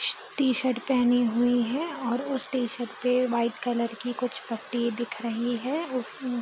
T-shirt पहनी हुई है और उस टी-शर्ट पे वाइट कलर की कुछ पट्टी दिख रही है उस उ --